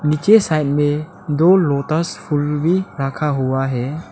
पीछे साइड में दो लोटस फूल भी रखा हुआ है।